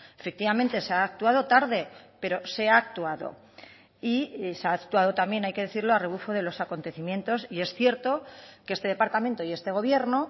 efectivamente se ha actuado tarde pero se ha actuado y se ha actuado también hay que decirlo a rebufo de los acontecimientos y es cierto que este departamento y este gobierno